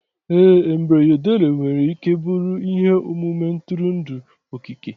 ee embroidery nwere ike ịbụ ihe omume ntụrụndụ okike